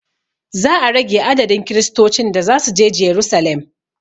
Za a rage adadin kiristocin da zasuje jerusalem